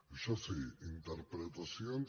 això sí interpretacions